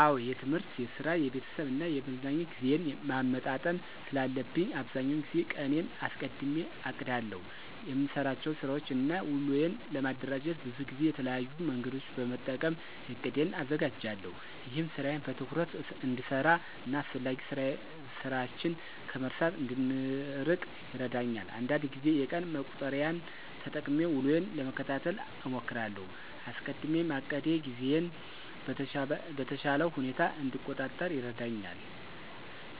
አዎ የትምህርት፣ የስራ፣ የቤተሰብ እና የመዝናኛ ጊዜዬን ማመጣጠን ስላለብኝ አብዛኛውን ጊዜ ቀኔን አስቀድሜ አቅዳለሁ። የምሰራቸውን ስራወችን እና ውሎዬን ለማደራጀት ብዙ ጊዜ የተለያዩ መንገዶችን በመጠቀም እቅዴን አዘጋጃለሁ። ይህም ስራዬን በትኩረት እንድሰራ እና አስፈላጊ ስራችን ከመርሳት እንድንርቅ ይረዳኛል። አንዳንድ ጊዜ የቀን መቁጠሪያን ተጠቅሜ ውሎዬን ለመከታተል እሞክራለሁ። አስቀድሜ ማቀዴ ጊዜዬን በተሻለ ሁኔታ እንድቆጣጠር ይረዳኛል